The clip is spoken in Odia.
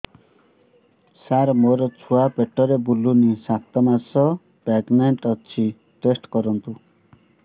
ସାର ମୋର ଛୁଆ ପେଟରେ ବୁଲୁନି ସାତ ମାସ ପ୍ରେଗନାଂଟ ଅଛି ଟେଷ୍ଟ କରନ୍ତୁ